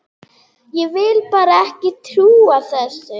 Ég vil bara ekki trúa þessu.